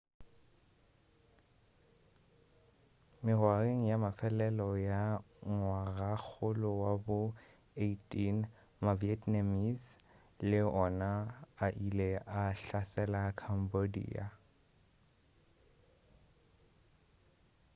mengwageng ya mafelelo ya ngwagakgolo wa bo 18 ma-vietnamese le wona a ile a hlasela cambodia